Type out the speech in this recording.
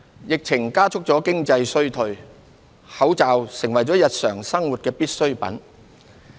疫情加速了經濟衰退，口罩成為了日常生活的必需品。